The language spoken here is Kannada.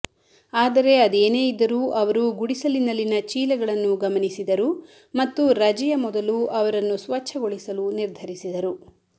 ಆದರೆ ಅದೇನೇ ಇದ್ದರೂ ಅವರು ಗುಡಿಸಲಿನಲ್ಲಿನ ಚೀಲಗಳನ್ನು ಗಮನಿಸಿದರು ಮತ್ತು ರಜೆಯ ಮೊದಲು ಅವರನ್ನು ಸ್ವಚ್ಛಗೊಳಿಸಲು ನಿರ್ಧರಿಸಿದರು